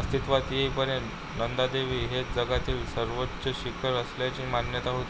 अस्तित्वात येई पर्यंत नंदादेवी हेच जगातील सर्वोच्च शिखर असल्याची मान्यता होती